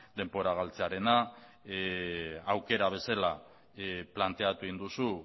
denbora galtzearena aukera bezala planteatu egin duzu